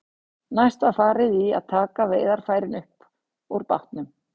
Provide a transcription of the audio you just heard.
Næst var farið í að taka veiðarfærin upp úr bátnum.